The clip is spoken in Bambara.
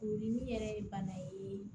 Furudimi yɛrɛ ye bana ye